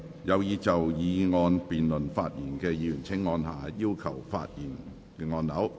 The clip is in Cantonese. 有意就議案辯論發言的議員請按下"要求發言"按鈕。